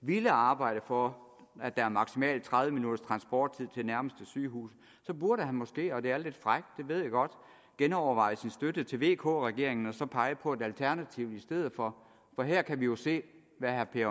ville arbejde for at der er maksimalt tredive minutters transporttid til nærmeste sygehus så burde han måske og det er lidt frækt det ved jeg godt genoverveje sin støtte til vk regeringen og så pege på et alternativ i stedet for for her kan vi jo se hvad herre per